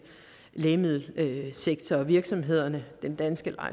lægemiddelsektor og virksomhederne den danske